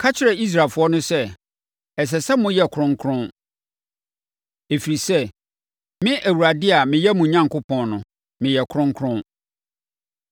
“Ka kyerɛ Israelfoɔ no sɛ, ‘Ɛsɛ sɛ moyɛ kronkron, ɛfiri sɛ, me Awurade a meyɛ mo Onyankopɔn no, meyɛ kronkron.